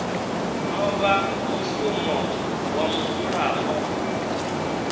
no vha mushumo wa mudzulapo